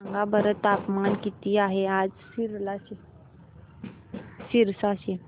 सांगा बरं तापमान किती आहे आज सिरसा चे